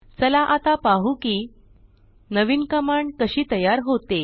चला आता पाहु की नवीन कमांड कशी तयार होते